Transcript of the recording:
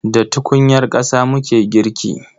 Da tukunyar ƙasa muke girki.